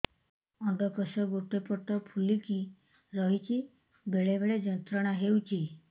ଅଣ୍ଡକୋଷ ଗୋଟେ ପଟ ଫୁଲିକି ରହଛି ବେଳେ ବେଳେ ଯନ୍ତ୍ରଣା ହେଉଛି